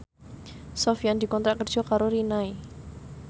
Sofyan dikontrak kerja karo Rinnai